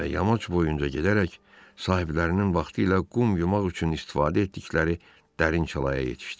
Və yamaç boyunca gedərək sahiblərinin vaxtilə qum yumaq üçün istifadə etdikləri dərin çalaya yetişdi.